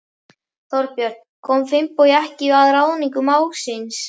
Þorbjörn: Kom Finnbogi ekki að ráðningu mágs síns?